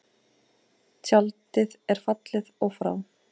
Tjaldið er fallið og frá.